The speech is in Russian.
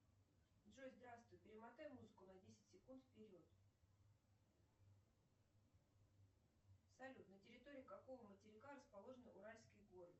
джой здравствуй перемотай музыку на десять секунд вперед салют на территории какого материка расположены уральские горы